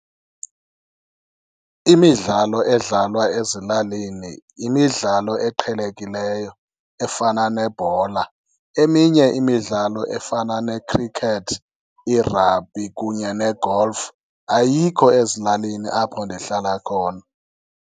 Imidlalo edlalwa ezilalini yimidlalo eqhelekileyo efana nebhola, eminye imidlalo efana ne-cricket i-rugby kunye ne-golf ayikho ezilalini apho ndihlala khona.